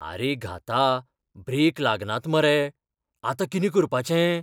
आरे घाता, ब्रेक लागनात मरे. आतां कितें करपाचें?